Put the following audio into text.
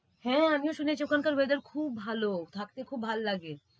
হ্যাঁ আমিও শুনেছি ওখানকার weather খুব ভাল। থাকতে খুব ভাল লাগে।